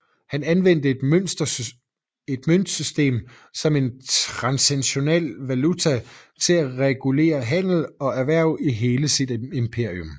Han anvendte et møntsystem som en transnational valuta til at regulere handel og erhverv i hele sit imperium